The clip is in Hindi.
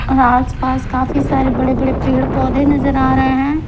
और आसपास काफी सारे बड़े-बड़े पेड़-पौधे नजर आ रहे हैं।